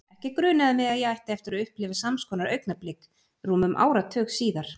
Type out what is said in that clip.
Ekki grunaði mig að ég ætti eftir að upplifa sams konar augnablik rúmum áratug síðar.